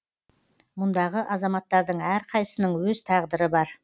мұндағы азаматтардың әрқайсысының өз тағдыры бар